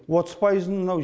отыз пайызын мынау